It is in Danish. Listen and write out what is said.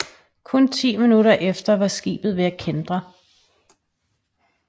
Kun 10 minutter efter var skibet ved at kæntre